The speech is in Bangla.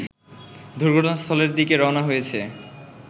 দুর্ঘটনাস্থলের দিকে রওনা হয়েছে